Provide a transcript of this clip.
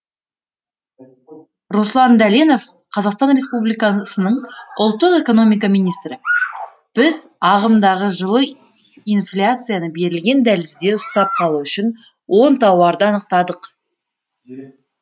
руслан дәленов қазақстан республикасының ұлттық экономика министрі біз ағымдағы жылы инфляцияны берілген дәлізде ұстап қалу үшін он тауарды анықтадық